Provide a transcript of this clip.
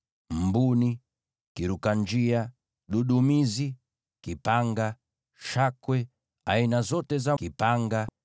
mbuni, kiruka-njia, dudumizi, kipanga, shakwe, aina zote za kipanga,